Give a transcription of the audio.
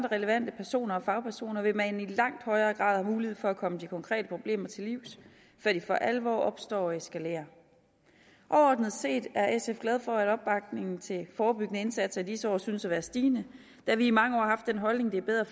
relevante personer og fagpersoner vil man i langt højere grad få mulighed for at komme de konkrete problemer til livs før de for alvor opstår og eskalerer overordnet set er sf glad for at opbakningen til forebyggende indsatser i disse år synes at være stigende da vi i mange år har haft den holdning at det er bedre